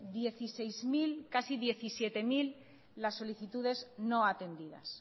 dieciséis mil casi diecisiete mil las solicitudes no atendidas